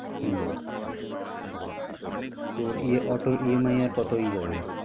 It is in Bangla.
হম তোর ইয়ে অটোর EMI আর কতোই যাবে?